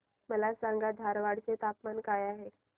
मला सांगा धारवाड चे तापमान काय आहे